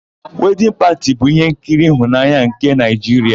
Wedịn Pati bụ ihenkiri ịhụnanya nke Naịjiria.